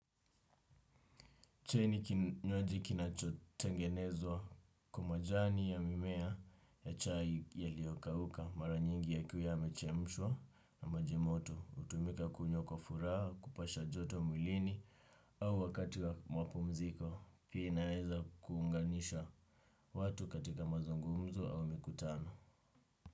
Chai ni kinywaji kinachotengenezwa kwa majani ya mimea ya chai yaliokauka maranyingi yakiwa yamechemshwa na maji moto, hutumika kunywa kwa furaha, kupasha joto mwilini au wakati wa mapumziko, pia inaweza kuunganisha watu katika mazungumzo au mikutano.